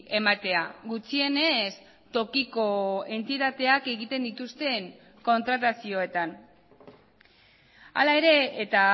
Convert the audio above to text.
ematea gutxienez tokiko entitateak egiten dituzten kontratazioetan hala ere eta